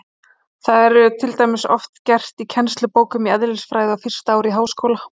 Það er til dæmis oft gert í kennslubókum í eðlisfræði á fyrsta ári í háskóla.